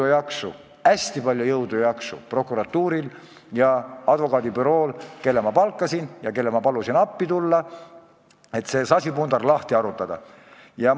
Oleks hästi palju jõudu ja jaksu prokuratuuril ja advokaadibürool, kelle ma palkasin ja kellel ma palusin appi tulla, et see sasipundar lahti harutada!